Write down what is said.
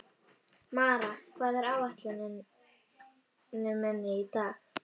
Mara, hvað er á áætluninni minni í dag?